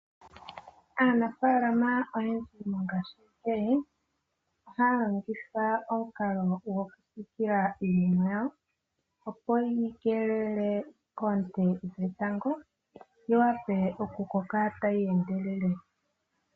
Aanafaalama oyendji mongaashi ngeyi, ohaya longitha omukalo gwo ku siikila iimeno yawo, opo ye yi keelele koonte dhetango, yi wape okukoka tayi endelele.